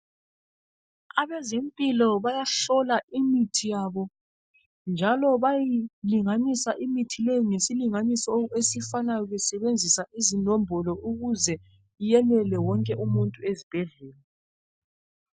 Abezempilo bayahlola imithi yabo njalo bayilinganisa imithi leyo ngesilinganiso esifanayo besebenzisa izinombolo ukuze yenele wonke umuntu ezibhedlela.